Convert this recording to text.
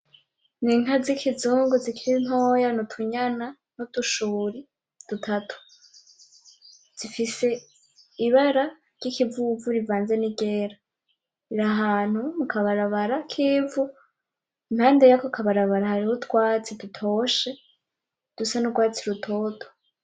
N'inka z'ikizungu zikiri ntoya, n'utunyana n'udushuri dutatu, zifise ibara ry'ikivuvu rivanze n'iryera, rir'ahantu mu kabarabara k'ivu, impande yako k'abarabara hariho utwatsi dutoshe dusa n'ugwatsi rutoto.